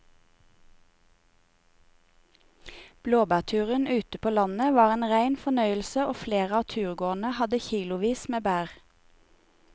Blåbærturen ute på landet var en rein fornøyelse og flere av turgåerene hadde kilosvis med bær.